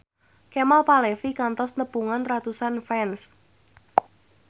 Kemal Palevi kantos nepungan ratusan fans